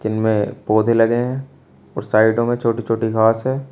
इनमें पौधे लगे हैं और साइडों में छोटी छोटी घास है।